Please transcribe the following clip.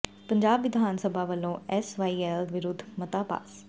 ਪੰਜਾਬ ਵਿਧਾਨ ਸਭਾ ਵਲੋਂ ਐਸ ਵਾਈ ਐਲ ਵਿਰੁੱਧ ਮਤਾ ਪਾਸ